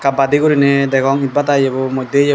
badi gorine degong etbata eyabu modde eyabu.